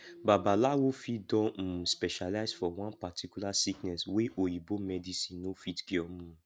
babalawo fit don um specialize for one particular sickness wey oyibo medicine no fit cure um